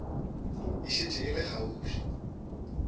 e šetše e le kgauswi